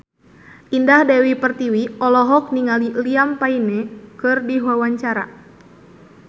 Indah Dewi Pertiwi olohok ningali Liam Payne keur diwawancara